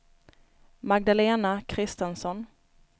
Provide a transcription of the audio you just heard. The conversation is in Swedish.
Magdalena Christensson